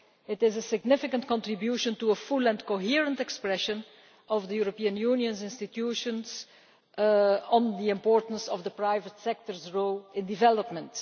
It is a significant contribution to a full and coherent expression of the European Union's institutions on the importance of the private sector's role in development.